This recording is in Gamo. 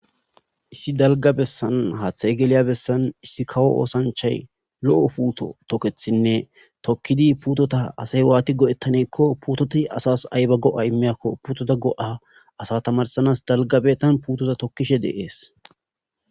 issi dalga bessan haaththa egeeliya bessan issi kawo oosanchay lo7o puuto tokethinne tokkidi puutota asay waati go7ettaneekko puutoti asas ayba go7a imiyakko puutota go7a asa tamarsanas dalgabe tan puutota tokkishe deees